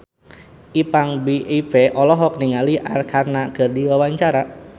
Ipank BIP olohok ningali Arkarna keur diwawancara